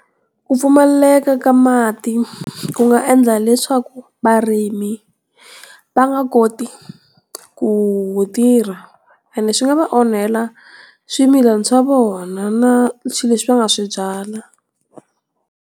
Ku pfumaleka ka mati ku nga endla leswaku varimi, va nga koti ku tirha ene swi nga va onhela swimilana swa vona na swilo leswi va nga swi byala.